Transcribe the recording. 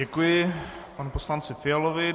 Děkuji panu poslanci Fialovi.